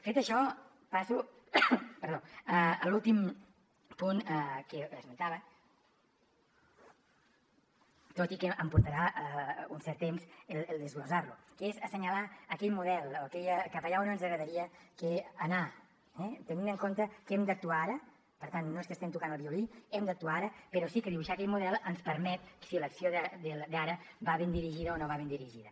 fet això passo a l’últim punt que esmentava tot i que em portarà un cert temps el desglossar lo que és assenyalar aquell model cap allà on ens agradaria anar tenint en compte que hem d’actuar ara per tant no és que estiguem tocant el violí hem d’actuar ara però sí que dibuixar aquell model ens permet si l’acció d’ara va ben dirigida o no va ben dirigida